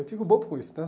Eu fico bobo com isso.